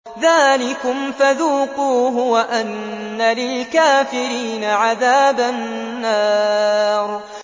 ذَٰلِكُمْ فَذُوقُوهُ وَأَنَّ لِلْكَافِرِينَ عَذَابَ النَّارِ